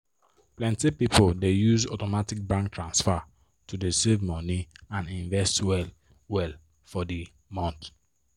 plenty people dey use automatic bank transfer to save money and invest well well for the month